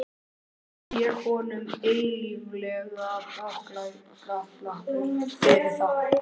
Verð ég honum eilíflega þakklátur fyrir það.